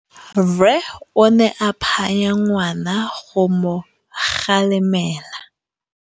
Rre o ne a phanya ngwana go mo galemela.